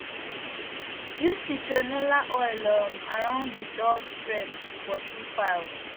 use citronella oil um around de doors frames to pursue files